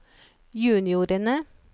juniorene